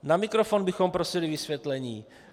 Na mikrofon bychom prosili vysvětlení.